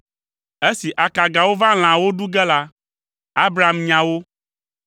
Esi akagawo va lãawo ɖu ge la, Abram nya wo.